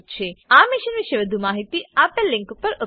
આ મિશન પર વધુ માહિતી spoken tutorialorgnmeict ઇન્ટ્રો પર ઉપલબ્ધ છે